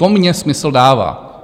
To mně smysl dává.